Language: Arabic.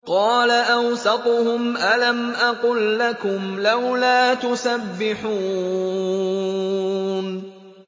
قَالَ أَوْسَطُهُمْ أَلَمْ أَقُل لَّكُمْ لَوْلَا تُسَبِّحُونَ